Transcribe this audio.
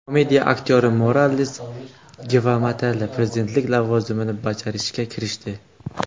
Komediya aktyori Morales Gvatemala prezidentligi lavozimini bajarishga kirishdi.